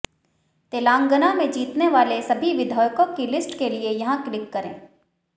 तेलंगाना में जीतने वाले सभी विधायकों की लिस्ट के लिए यहां क्लिक करें